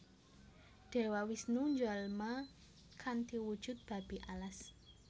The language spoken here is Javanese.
Dewa Wisnu njalma kanthi wujud Babi Alas